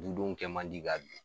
Dudenw kɛ man di ka